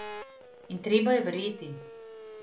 In treba je verjeti.